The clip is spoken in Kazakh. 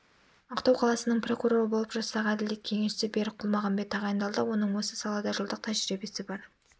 ақтау қаласының прокуроры болып жастағы әділет кеңесшісі берік құлмағамбет тағайындалды оның осы салада жылдық тәжірибесі бар